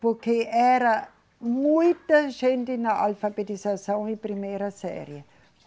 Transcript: Porque era muita gente na alfabetização e primeira série.